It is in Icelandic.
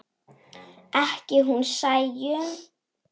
Ekki hún Sæunn.